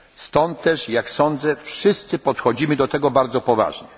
latach. Dlatego też, jak sądzę, wszyscy podchodzimy do tego bardzo